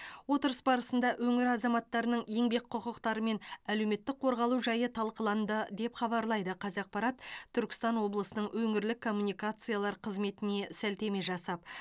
отырыс барысында өңір азаматтарының еңбек құқықтары мен әлеуметтік қорғалу жайы талқыланды деп хабарлайды қазақпарат түркістан облысының өңірлік коммуникациялар қызметіне сілтеме жасап